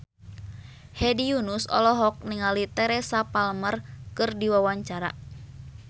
Hedi Yunus olohok ningali Teresa Palmer keur diwawancara